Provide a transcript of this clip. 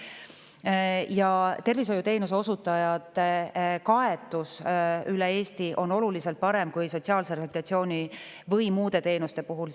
Ja Eesti kaetus tervishoiuteenuse osutajatega on oluliselt parem kui sotsiaalse rehabilitatsiooni või muude teenuste puhul.